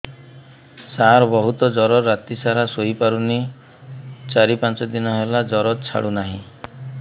ସାର ବହୁତ ଜର ରାତି ସାରା ଶୋଇପାରୁନି ଚାରି ପାଞ୍ଚ ଦିନ ହେଲା ଜର ଛାଡ଼ୁ ନାହିଁ